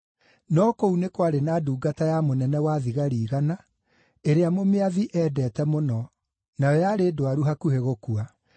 No kũu nĩ kwarĩ na ndungata ya mũnene-wa-thigari-igana, ĩrĩa mũmĩathi eendete mũno, nayo yarĩ ndwaru hakuhĩ gũkua.